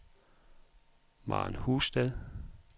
Maren Husted